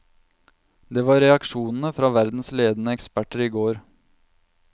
Det var reaksjonene fra verdens ledende eksperter i går.